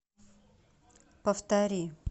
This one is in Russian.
повтори